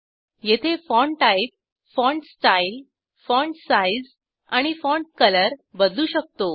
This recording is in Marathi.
येथे font type font style font size आणि फॉन्ट कलर बदलू शकतो